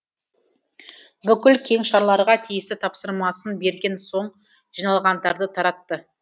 бүкіл кеңшарларға тиісті тапсырмасын берген соң жиналғандарды таратты